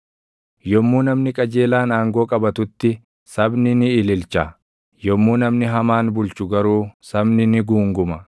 Yommuu namni qajeelaan aangoo qabatutti, sabni ni ililcha; yommuu namni hamaan bulchu garuu sabni ni guunguma.